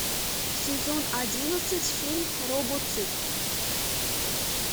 сезон одиннадцать фильм робоцып